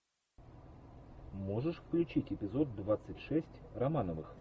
можешь включить эпизод двадцать шесть романовых